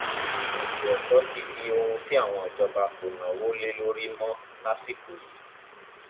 ètò ẹkọ ti di ohun tí àwọn ìjọba kò náwó lé lórí mọ lásìkò yìí